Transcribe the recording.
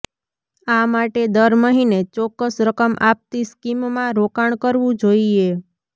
આ માટે દર મહિને ચોક્કસ રકમ આપતી સ્કીમમાં રોકાણ કરવું જોઇએ